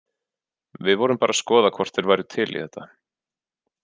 Við vorum bara að skoða hvort þeir væru til í þetta.